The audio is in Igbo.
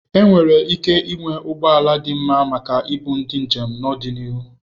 Enwere ike ịnwe ụgbọ ala dị mma maka ibu ndi njem n'ọdịnihu.